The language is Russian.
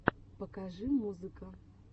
покажи музыка